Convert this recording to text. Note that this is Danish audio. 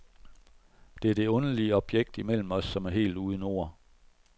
Der er det underlige objekt imellem os, som er helt uden ord.